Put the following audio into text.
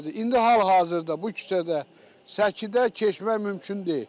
İndi hal-hazırda bu küçədə səkidə keçmək mümkün deyil.